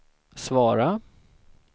svara